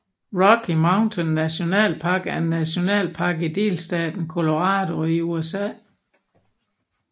Rocky Mountain National Park er en nationalpark i delstaten Colorado i USA